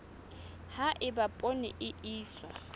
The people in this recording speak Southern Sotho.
ha eba poone e iswa